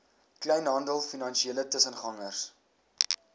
kleinhandel finansiële tussengangers